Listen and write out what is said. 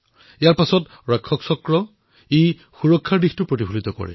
ইয়াৰ পিছত ৰক্ষক চক্ৰ যি সুৰক্ষাক প্ৰদৰ্শিত কৰিছে